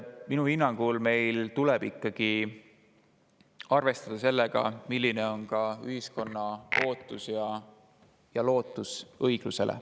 Minu hinnangul tuleb meil ikkagi arvestada ka sellega, milline on ühiskonna ootus ja lootus õiglusele.